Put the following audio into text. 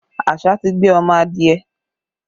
Àṣá ti gbé ọmọ adìẹ